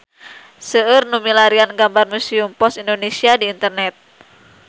Seueur nu milarian gambar Museum Pos Indonesia di internet